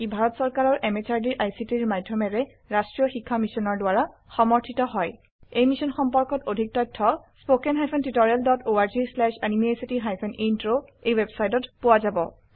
ই ভাৰত চৰকাৰৰ MHRDৰ ICTৰ মাধয়মেৰে ৰাস্ত্ৰীয় শিক্ষা মিছনৰ দ্ৱাৰা সমৰ্থিত হয় ই মিশ্যন সম্পৰ্কত অধিক তথ্য spoken hyphen tutorial dot org slash এনএমইআইচিত হাইফেন ইন্ট্ৰ ৱেবচাইটত পোৱা যাব